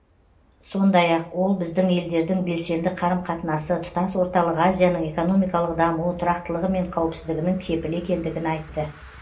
сондай ақ ол біздің елдердің белсенді қарым қатынасы тұтас орталық азияның экономикалық дамуы тұрақтылығы мен қауіпсіздігінің кепілі екендігін айтты